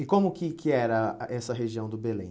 E como que que era a essa região do Belém?